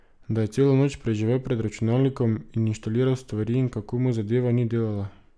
Da je celo noč preživel pred računalnikom in inštaliral stvari in kako mu zadeva ni delala.